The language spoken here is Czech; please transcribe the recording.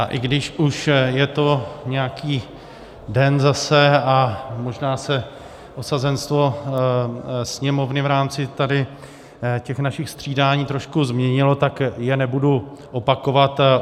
A i když už je to nějaký den zase a možná se osazenstvo sněmovny v rámci tady těch našich střídání trošku změnilo, tak je nebudu opakovat.